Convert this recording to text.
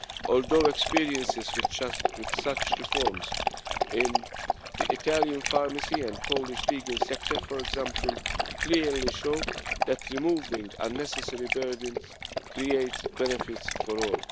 although experience with such reforms in the Italian pharmacy and Polish legal sector, for example, clearly show that removing unnecessary burdens creates benefits for all.